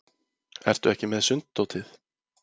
Ertu ekki með sunddótið?